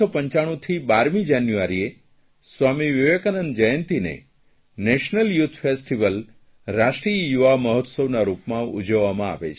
1995થી 12મી જાન્યુઆરીએ સ્વામી વિવેકાનંદ જયંતિને નેશનલ યૂથ ફેસ્ટીવલ રાષ્ટ્રીય યુવા મહોત્સવના રૂપમાં ઉજવવામાં આવે છે